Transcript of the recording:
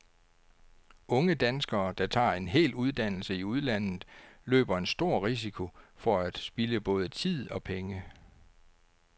Unge danskere, der tager en hel uddannelse i udlandet, løber en stor risiko for at spilde både tid og penge.